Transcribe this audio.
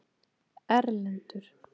Erlendur